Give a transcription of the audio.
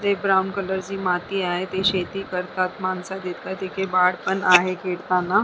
ते brown colour ची माती आहे ते शेती करतात माणसं दिसतात तिथे बाळ पण आहेत खेळतांना.